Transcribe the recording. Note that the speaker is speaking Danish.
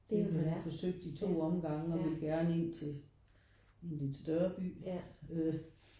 Nu har de forsøgt i 2 omgange og vil gerne ind til i en lidt større by øh